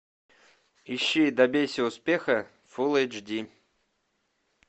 ищи добейся успеха фул эйч ди